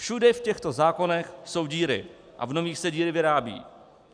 Všude v těchto zákonech jsou díry a v nových se díry vyrábějí.